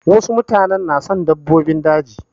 Wasu mutanen na son dabbobin daji.